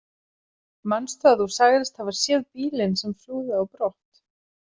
Manstu að þú sagðist hafa séð bílinn sem flúði á brott?